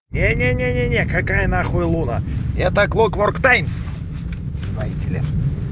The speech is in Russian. не не не не-не какая нахуй луна это клок у